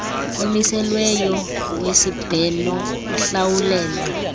omiselweyo wesibheno uhlawulelwa